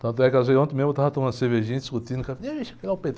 Tanto é que às vezes, ontem mesmo eu estava tomando cervejinha, discutindo